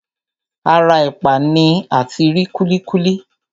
Ara ẹ̀pà ni ati rí kúlíkúlí.